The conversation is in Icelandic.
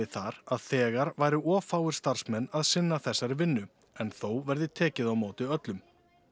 þar að þegar væru of fáir starfsmenn að sinna þessari vinnu en þó verði tekið á móti öllum